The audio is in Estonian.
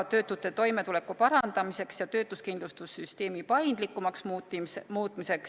Töötute toimetuleku parandamiseks ja töötuskindlustussüsteemi paindlikumaks muutmiseks ...